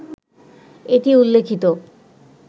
এটি উল্লিখিত